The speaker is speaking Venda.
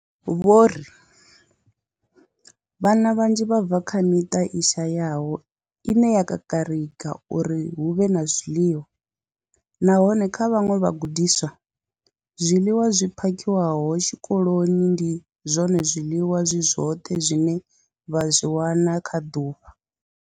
Vho ri Vhana vhanzhi vha bva kha miṱa i shayaho ine ya kakarika uri hu vhe na zwiḽiwa, nahone kha vhaṅwe vhagudiswa, zwiḽiwa zwi phakhiwaho tshikoloni ndi zwone zwiḽiwa zwi zwoṱhe zwine vha zwi wana kha ḓuvha.